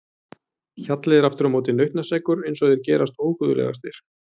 Hjalli er aftur á móti nautnaseggur eins og þeir gerast óguðlegastir.